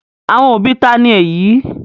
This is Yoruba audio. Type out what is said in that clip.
Àwọn òbí ta ni èyí?